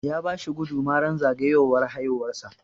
Ya bashi guduma ran zagayowar haihuwar sa